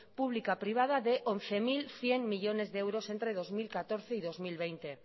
pública privada de once mil cien millónes de euros entre dos mil catorce y dos mil veinte